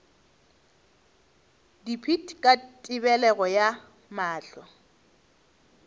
dipit ka tebelego ya mahlo